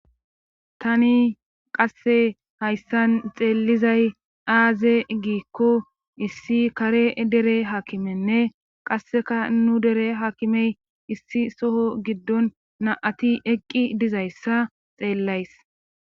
Tani qasse hayssan xeellizay aaze giikko issi kare dere hakimenne qasseka nu dere hakimey issi soho giddon na'ati eqqi dizayssa xeellays.